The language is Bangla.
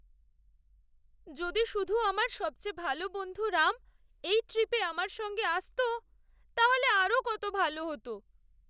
যদি শুধু আমার সবচেয়ে ভালো বন্ধু রাম এই ট্রিপে আমার সঙ্গে আসত! তাহলে আরও কত ভালো হত।